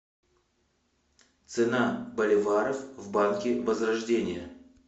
цена боливаров в банке возрождение